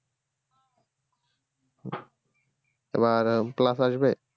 এবার plus আসবে